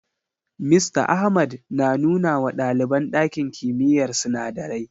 Mista Ahmad na nuna wa ɗaliban ɗakin kimiyyar sinadarai.